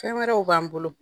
Fɛn wɛrɛw b'an bolo.